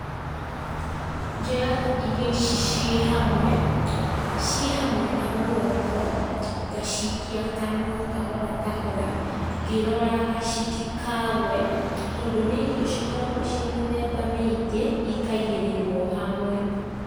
Njoyaga irio ici ciĩ hamwe, ciĩ hamwe na guoko, ngaciikia kanua kahora kahora, ngĩroraga citikagwe, tondũ nĩ irio cikoragwo ciĩ mĩthemba mĩingi, ikaigĩrĩrwo hamwe.